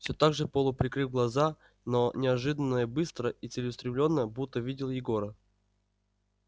всё так же полуприкрыв глаза но неожиданно и быстро и целеустремлённо будто видел егора